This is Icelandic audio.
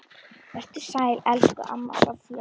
Vertu sæl, elsku amma Soffa.